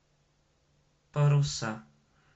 паруса